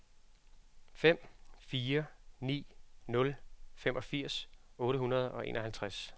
fem fire ni nul femogfirs otte hundrede og enoghalvtreds